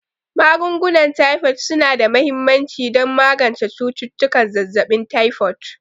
Magungunan Taifod su na da mahimmanci don magance cututtukan zazzabin taifod.